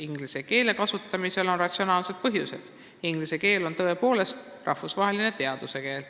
Inglise keele kasutamisel on ratsionaalsed põhjused, sest inglise keel on tõepoolest rahvusvaheline teaduskeel.